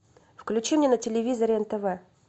включи мне на телевизоре нтв